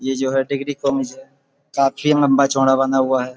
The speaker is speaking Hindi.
ये जो है डिग्री कॉलेज है। काफी लंबा-चौड़ा बना हुआ है।